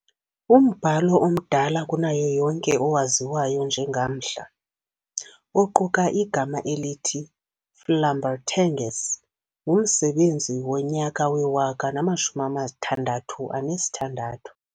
Umbhalo omdala kunayo yonke, owaziwayo njengamhla, oquka igama elithi Flambertenges, ngumsebenzi wonyaka we-1066.